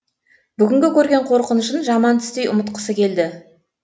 бүгінгі көрген қорқынышын жаман түстей ұмытқысы келді